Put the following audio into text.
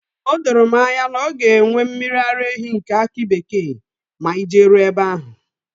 O doro m anya na ọ ga enwe mmiri ara ehi nke akị bekee ma anyị jeruo ebe ahụ